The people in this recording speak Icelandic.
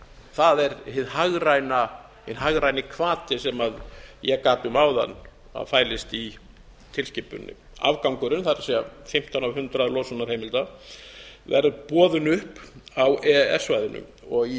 það er hinn hagræni hvati sem ég gat um að að fælist í tilskipuninni afgangurinn það er fimmtán af hundraði losunarheimilda verður boðinn upp á e e s svæðinu í